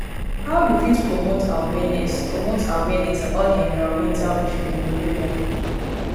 how you fit promote awareness promote awareness about di environmental issue in your area?